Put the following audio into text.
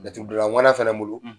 Laturu dɔnna ŋana fana bolo,